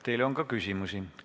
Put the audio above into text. Teile on ka küsimusi.